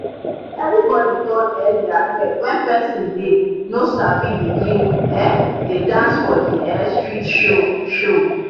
everybody turn um their head when person dey no sabi begin um dey dance for the um street show. show.